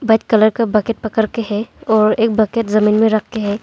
White colour का bucket पकड़ के है और एक बकेट जमीन में रके हैं।